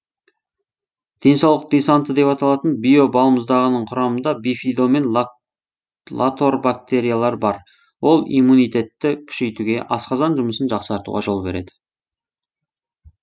денсаулық десанты деп аталатын био балмұздағының құрамында бифидо мен латорбактериялар бар ол иммунитетті күшейтуге асқазан жұмысын жақсартуға жол береді